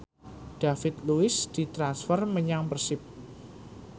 David Luiz ditransfer menyang Persib